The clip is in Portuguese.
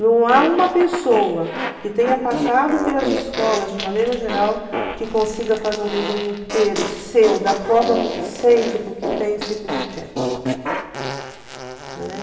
Não há uma pessoa que tenha passado pelas escolas de maneira geral que consiga fazer um desenho inteiro seu, da forma para o que sente, para o que pensa e para o que quer, né?